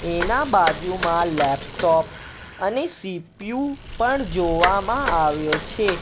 એના બાજુમાં લેપટોપ અને સી_પી_યુ પણ જોવામાં આવ્યો છે.